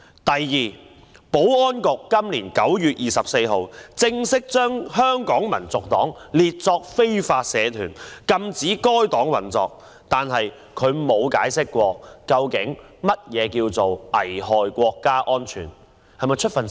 第二，保安局在今年9月24日正式把香港民族黨列作非法社團，禁止該黨運作，但從來沒有解釋究竟何謂危害國家安全。